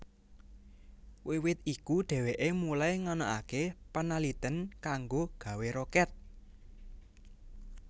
Wiwit iku dheweke mulai nganakake panaliten kanggo gawé roket